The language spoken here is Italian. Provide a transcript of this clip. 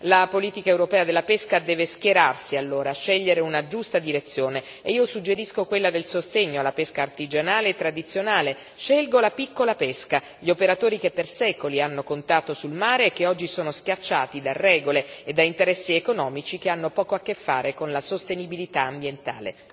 La politica europea della pesca deve schierarsi, allora, scegliere una giusta direzione, e io suggerisco quella del sostegno alla pesca artigianale e tradizionale, scelgo la piccola pesca, gli operatori che per secoli hanno contato sul mare e che oggi sono schiacciati da regole e da interessi economici che hanno poco a che fare con la sostenibilità ambientale.